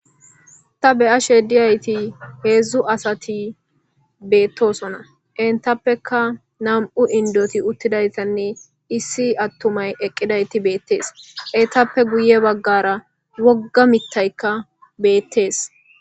ta beya shediyayti heedzdzu asati beettosona entappeka nam7u indoti uttidaytanne issi attumay eqqidayti beettees etappe guye baggara wogga mittaykka beettees